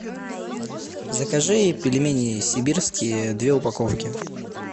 закажи пельмени сибирские две упаковки